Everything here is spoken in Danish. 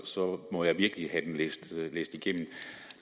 så må jeg virkelig have det læst igennem